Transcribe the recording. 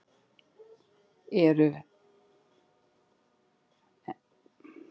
En eru menn almennt sáttir með aðsókn ferðamanna í sumar?